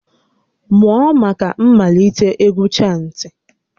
Mụọ maka mmalite égwú chantị!